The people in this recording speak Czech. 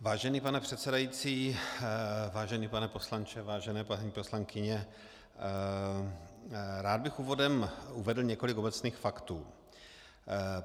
Vážený pane předsedající, vážený pane poslanče, vážené paní poslankyně, rád bych úvodem uvedl několik obecných faktů.